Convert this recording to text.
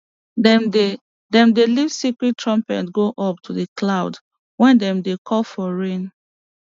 dem dey dem dey lift sacred trumpet go up to the clouds when dem dey call for rain